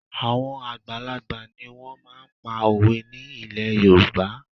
Àwọn àgbàlagbà ni wọ́n máa ń pa òwe ní ilẹ̀ Yorùbá